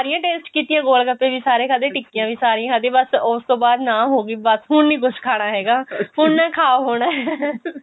ਸਾਰੀਆਂ taste ਕੀਤੀਆਂ ਗੋਲਗੱਪੈ ਵੀ ਸਾਰੇ ਖਾਧੇ ਟਿੱਕੀਆਂ ਵੀ ਸਾਰੀਆਂ ਖਾਧੀਆਂ ਬੱਸ ਉਸਤੋਂ ਬਾਅਦ ਨਾ ਹੋਗੀ ਬੱਸ ਹੁਣ ਨੀ ਕੁੱਝ ਖਾਣਾ ਹੈਗਾ ਹੁਣ ਨੀ ਖਾ ਹੋਣਾ